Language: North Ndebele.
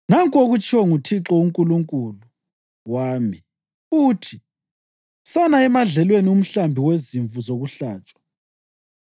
Nanku okutshiwo nguThixo uNkulunkulu wami, uthi: “Sana emadlelweni umhlambi wezimvu zokuhlatshwa.